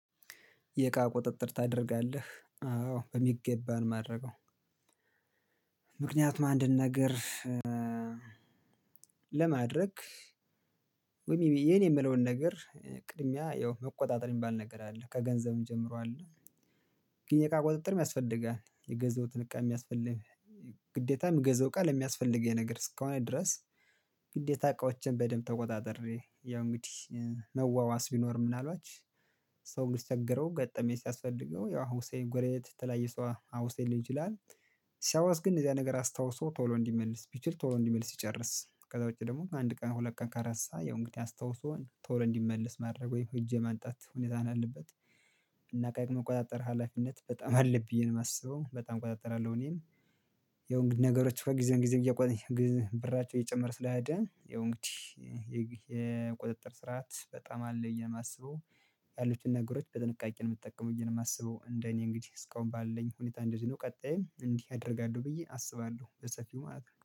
የእቃ ቁጥጥር ታደርጋለህ? አዎ በሚገባ ነው ማደርገው፣ ምክንያቱም አንድን ነገር ለማድረግ ወይም ይ የኔ የምለውን ነገር ቅድሚያ ያው መቆጣጠር የሚባል ነገር አለ፣ ከገንዘብም ጀምሮ አለ። ግን የእቃ ቁጥጥርም ያስፈልጋል። የገዛሁትን እቃ ሚያስፈልግ ግዴታ ምገዛው እቃ ለሚያስፈልገኝ ነገር እስከሆነ ድረስ ግዴታ እቃዎችን በደንብ ተቆጣጥሬ ያው እንግዲህ መዋዋስ ቢኖር ምናልባች ሰው ሲቸግረው ገጠመኝ ሲያስፈልገው ያው ሁሴ ጎረቤት የተለያየ ሰው አ አውሰኝ ሊል ይችላል። ሲያዋስ ግን እንደዚ አይነት ነገር አስታውሶ ቶሎ እንዲመልስ ቢችል ቶሎ እንዲመልስ ሲጨርስ ከዛ ውጪ ደግሞ አንድ ቀን ሁለት ቀን ከረሳ ያው እንግዲህ አስታውሶን ቶሎ እንዲመልስ ማድረግ ወይም ሄጄ ማምጣት ሁኔታ ነው ያለበት። እና እቃዬ መቆጣጠር ሀላፊነት በጣም አለ ብዬ ነው ማስበው በጣም እቆጣጠራለሁ እኔን ያው እንግዲህ ነገሮች ከዚያን ጊዜም እየቆይ ግ ብራቸው እየጨመረ ስለሄደ ያው እንግዲህ የግል የቁጥጥር ስርዓት በጣም አለ ብዬ ነው ማስበው። ያሉትን ነገሮች በጥንቃቄ ነው ምጠቀመው ብዬ ነው ማስበው እንደ እኔ እንግዲህ እስካሁን ባለኝ ሁኔታ እንደዚህ ነው ቀጣይም እንዲህ አደርጋለሁ ብዬ አስባለሁ በሰፊው ማለት ነው።